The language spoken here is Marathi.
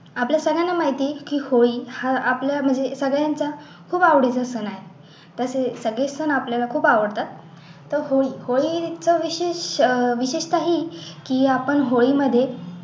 आपल्या सगळ्यांना माहिती की होळी हा आपला म्हणजे सगळ्यांचा खूप एवढीचा सण आहे तसेच सगळेच सण आपल्याला खूप आवडतात तर होळी होळी इतकं विशेष अह विशेषतः ही की आपण होळीमध्ये